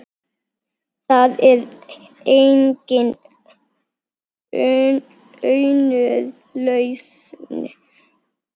Það er engin önnur lausn.